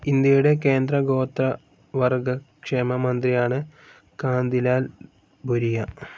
ഇന്ത്യയുടെ കേന്ദ്ര ഗോത്രവർഗ്ഗ ക്ഷേമ മന്ത്രിയാണ് കാന്തിലാൽ ഭുരിയ.